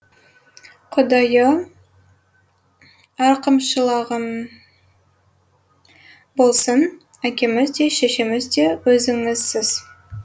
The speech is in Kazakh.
құдайы рақымшылығың болсын әкеміз де шешеміз де өзіңізсіз